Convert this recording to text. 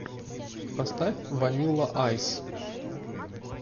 поставь ванилла айс